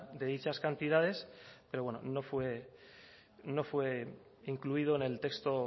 de dichas cantidades pero bueno no fue incluido en el texto